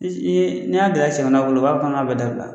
Is i ye n'i y'a dara i sɛmɛna bolo u b'a fɔ k'an ŋ'a bɛɛ dabila.